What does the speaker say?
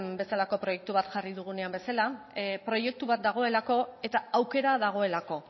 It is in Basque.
bezalako proiektu bat jarri dugunean bezala proiektu bat dagoelako eta aukera dagoelako